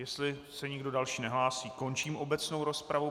Jestli se nikdo další nehlásí, končím obecnou rozpravu.